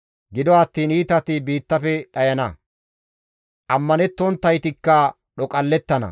Gido attiin iitati biittafe dhayana; ammanettonttaytikka dhoqallettana.